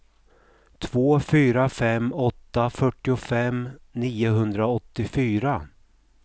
två fyra fem åtta fyrtiofem niohundraåttiofyra